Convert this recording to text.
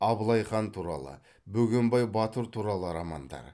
абылайхан туралы бөгенбай батыр туралы романдар